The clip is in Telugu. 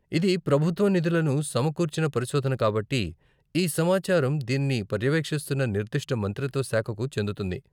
ఇది ప్రభుత్వ నిధులను సమకూర్చిన పరిశోధన కాబట్టి, ఈ సమాచారం దీనిని పర్యవేక్షిస్తున్న నిర్దిష్ట మంత్రిత్వ శాఖకు చెందుతుంది .